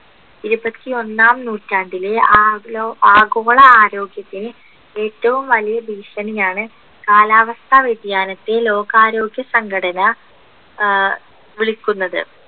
ഇരുപത്തി ഒന്നാം നൂറ്റാണ്ടിലെ ആ ലോ ആഗോള ആരോഗ്യത്തിന് ഏറ്റവും വലിയ ഭീഷണിയാണ് കാലാവസ്ഥ വ്യതിയാനത്തെ ലോകാരോഗ്യ സംഘടന ആഹ് വിളിക്കുന്നത്